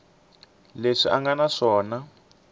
leswi a nga na swona